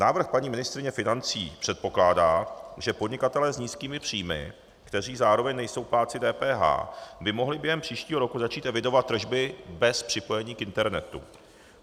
Návrh paní ministryně financí předpokládá, že podnikatelé s nízkými příjmy, kteří zároveň nejsou plátci DPH, by mohli během příštího roku začít evidovat tržby bez připojení k internetu.